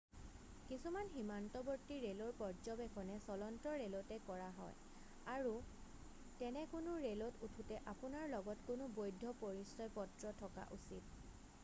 কিছুমান সীমান্তৱৰ্তী ৰেলৰ পৰ্যবেক্ষণ চলন্ত ৰেলতে কৰা হয় আৰু তেনে কোনো ৰেলত উঠোতে আপোনাৰ লগত কোনো বৈধ পৰিচয়পত্ৰ থকা উচিত